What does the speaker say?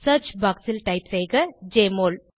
search box ல் type செய்க JMOL